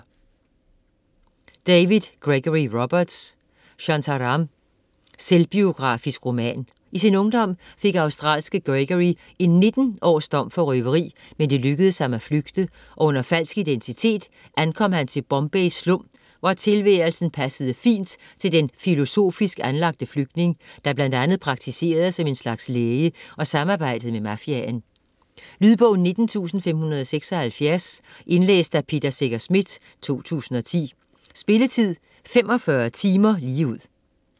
Roberts, Gregory David: Shantaram Selvbiografisk roman. I sin ungdom fik australske Gregory en 19 års dom for røveri, men det lykkedes ham at flygte, og under falsk identitet ankom han til Bombays slum, hvor tilværelsen passede fint til den filosofisk anlagte flygtning, der bl.a. praktiserede som en slags læge og samarbejdede med mafiaen. Lydbog 19576 Indlæst af Peter Secher Schmidt, 2010. Spilletid: 45 timer, 0 minutter.